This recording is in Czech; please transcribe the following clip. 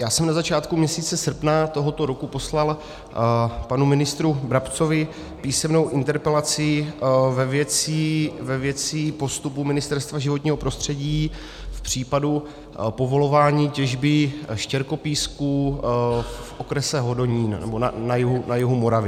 Já jsem na začátku měsíce srpna tohoto roku poslal panu ministru Brabcovi písemnou interpelaci ve věci postupu Ministerstva životního prostředí v případu povolování těžby štěrkopísku v okrese Hodonín, nebo na jihu Moravy.